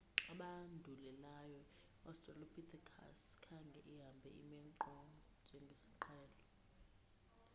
abandulelayo iaustralopithecus khange ihambe ime nkqo njengesiqhelo